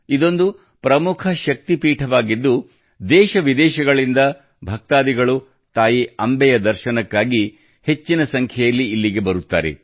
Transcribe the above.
ಇದೊಂದು ಪ್ರಮುಖ ಶಕ್ತಿಪೀಠವಾಗಿದ್ದು ದೇಶ ವಿದೇಶಗಳಿಂದ ಭಕ್ತಾದಿಗಳು ತಾಯಿ ಅಂಬೆಯ ದರ್ಶನಕ್ಕಾಗಿ ಹೆಚ್ಚಿನ ಸಂಖ್ಯೆಯಲ್ಲಿ ಇಲ್ಲಿಗೆ ಬರುತ್ತಾರೆ